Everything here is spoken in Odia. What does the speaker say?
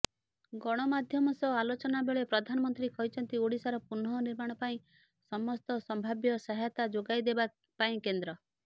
ଗଣମାଧ୍ୟମ ସହ ଆଲୋଚନା ବେଳେ ପ୍ରଧାନମନ୍ତ୍ରୀ କହିଛନ୍ତି ଓଡ଼ିଶାର ପୁନଃ ନିର୍ମାଣ ପାଇଁ ସମସ୍ତ ସମ୍ଭାବ୍ୟ ସହାୟତା ଯୋଗାଇଦେବାପାଇଁ କେନ୍ଦ୍ର